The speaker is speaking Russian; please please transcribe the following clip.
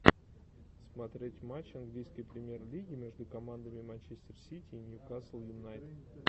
смотреть матч английской премьер лиги между командами манчестер сити и ньюкасл юнайтед